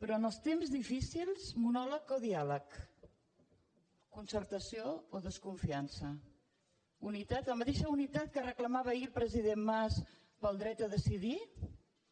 però en els temps difícils monòleg o diàleg concertació o desconfiança unitat la mateixa unitat que reclamava ahir el president mas pel dret a decidir